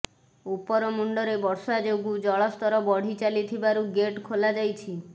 ଉପରମୁଣ୍ଡରେ ବର୍ଷା ଯୋଗୁ ଜଳସ୍ତର ବଢି ଚାଲିଥିବାରୁ ଗେଟ୍ ଖୋଲା ଯାଇଛି